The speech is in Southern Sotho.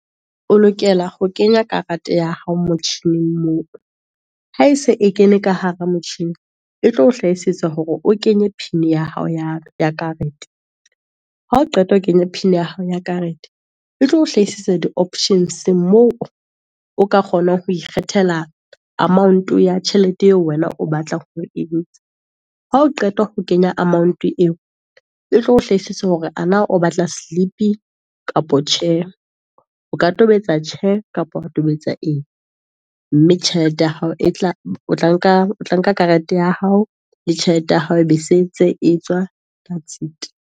O lokela ho kenya karete ya hao motjhining moo, ha ese e kene ka hara motjhini. E tlo hlahisetsa hore o kenye pin ya hao ya karete, ha o qeta ho kenya pin ya hao ya karete, e tlo hlahisetsa di options-eng moo, o ka kgona ho ikgethela amount-o ya tjhelete eo wena o batla ho entsha, ha o qeta ho kenya amount-o eo, e tlo o hlahisitse hore ana o batla slip-i kapa tjhe, o ka tobetsa tjhe kapa wa tobetsa eng. Mme tjhelete ya hao otla nka karete ya hao, le tjhelete ya hao e be setse e tswa that's it.